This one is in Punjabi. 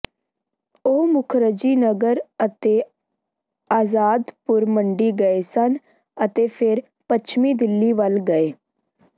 ਉਹ ਮੁਖਰਜੀ ਨਗਰ ਅਤੇ ਆਜ਼ਾਦਪੁਰ ਮੰਡੀ ਗਏ ਸਨ ਅਤੇ ਫਿਰ ਪਛਮੀ ਦਿੱਲੀ ਵਲ ਗਏ